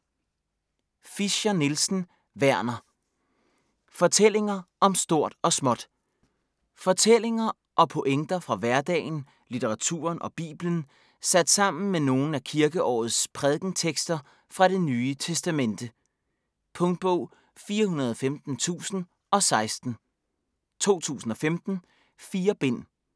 Fischer-Nielsen, Werner: Fortællinger om stort og småt Fortællinger og pointer fra hverdagen, litteraturen og Bibelen sat sammen med nogle af kirkeårets prædikentekster fra Det Nye Testamente. Punktbog 415016 2015. 4 bind.